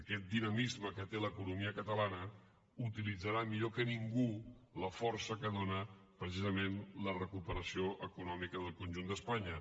aquest dinamisme que té l’economia catalana utilitzarà millor que ningú la força que dóna precisament la recuperació econòmica del conjunt d’espanya